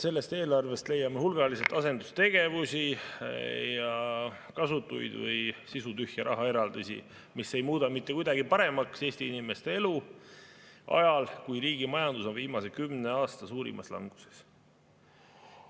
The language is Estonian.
Sellest eelarvest leiame hulgaliselt asendustegevusi ja kasutuid või sisutühje rahaeraldisi, mis ei muuda mitte kuidagi paremaks Eesti inimeste elu ajal, kui riigi majandus on viimase kümne aasta suurimas languses.